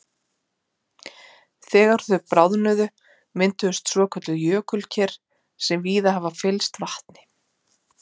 Þegar þau bráðnuðu mynduðust svokölluð jökulker sem víða hafa fyllst vatni.